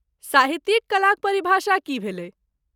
साहित्यिक कलाक परिभाषा की भेलै?